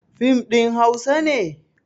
Fim ɗin hausa ne?